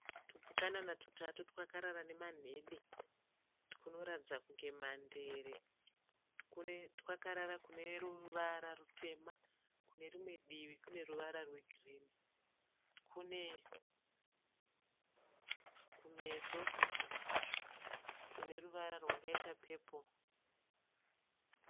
Tupukanana tutatu twakarara nemanhede. Tunoratidza kunge mandere. Twakarara kuneruvara rutema kunerimwe divi kuneruvara rwegirinhi. Twune kumeso kuneruvara rwakaita pepuro.